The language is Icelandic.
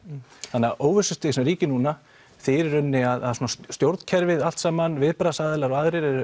þannig að óvissustig sem ríkir núna þýðir í rauninni að stjórnkerfið allt saman viðbragðsaðilar og aðrir eru